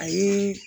A ye